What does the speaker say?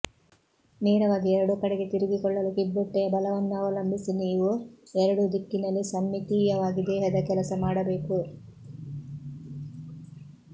ನೇರವಾಗಿ ಎರಡೂ ಕಡೆಗೆ ತಿರುಗಿಕೊಳ್ಳಲು ಕಿಬ್ಬೊಟ್ಟೆಯ ಬಲವನ್ನು ಅವಲಂಬಿಸಿ ನೀವು ಎರಡೂ ದಿಕ್ಕಿನಲ್ಲಿ ಸಮ್ಮಿತೀಯವಾಗಿ ದೇಹದ ಕೆಲಸ ಮಾಡಬೇಕು